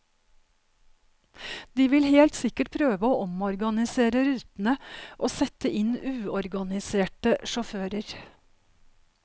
De vil helt sikkert prøve å omorganisere rutene og sette inn uorganiserte sjåfører.